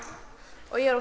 og ég er